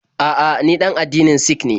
A'a, ni ɗan addinin Sik ne.